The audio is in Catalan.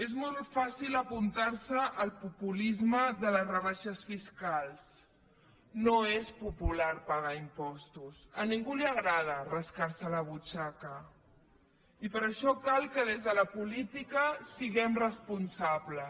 és molt fàcil apuntarse al populisme de les rebaixes fiscals no és popular pagar impostos a ningú li agrada rascarse la butxaca i per això cal que des de la política siguem responsables